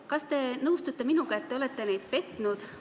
Kas te nõustute minuga, et te olete neid inimesi petnud?